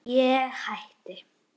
Ég hætti.